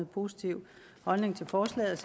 positiv holdning til forslaget